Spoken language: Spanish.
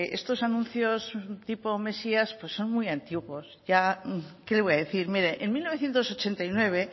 estos anuncios tipo mesías pues son muy antiguos ya qué le voy a decir mire en mil novecientos ochenta y nueve